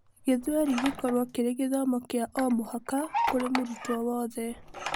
gĩthweri gĩkorwo kĩri gĩthomo kia o mũhaka kũri mũrutwo wothe.